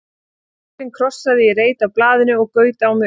Bretinn krossaði í reit á blaðinu og gaut á mig augum.